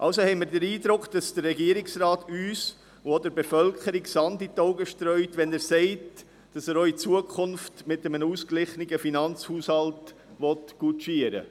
Also haben wir den Eindruck, dass der Regierungsrat uns, und auch der Bevölkerung, Sand in die Augen streut, wenn er sagt, dass er auch in Zukunft mit einem ausgeglichenen Finanzhaushalt arbeiten will.